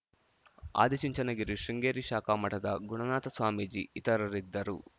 ಆದಿಚುಂಚನಗಿರಿ ಶೃಂಗೇರಿ ಶಾಖಾ ಮಠದ ಗುಣನಾಥ ಸ್ವಾಮೀಜಿ ಇತರರಿದ್ದರು